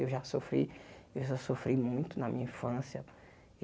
Eu já sofri eu já sofri muito na minha infância.